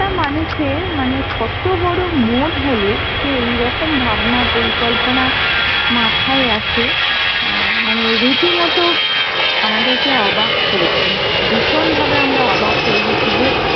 একটা মানুষের মানে কত বড় মন হলে সে এইরকম ভাবনা, পরিকল্পনা মাথাই আসে অ্যাঁ মানে রীতিমত আমাদেরকে অবাক করেছে। ভীষণ ভাবে আমরা অবাক হয়েগেছি যে